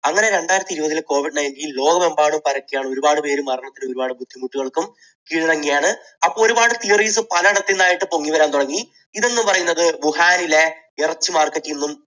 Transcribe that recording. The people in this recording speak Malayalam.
അങ്ങനെ രണ്ടായിരത്തി ഇരുപതിൽ covid nineteen ലോകമെമ്പാടും പരക്കുകയാണ്. ഒരുപാട് പേര് മരണപ്പെട്ടു. ഒരുപാട് ബുദ്ധിമുട്ടുകൾക്കും കീഴടങ്ങുകയാണ്. അപ്പോൾ ഒരുപാട് theories പലയിടത്തു നിന്നായിട്ട് പൊങ്ങിവരാൻ തുടങ്ങി. ഇത് എന്നു പറയുന്നത് വുഹാനിലെ ഇറച്ചി market ൽ നിന്നും